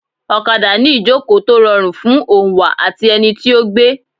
Ọ̀kadà ni ìjòkó tó rọrùn fún oǹwà àti ẹni tí ó gbé.